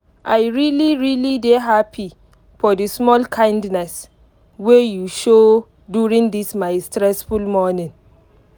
i really really dey happy for the small kindness wey you show during this my stressful morning.